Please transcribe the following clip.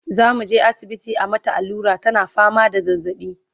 zamuje asibiti a mata allura tana fama da zazzaɓi